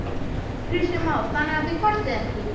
Kristján Már: Þannig að þið kvartið ekki?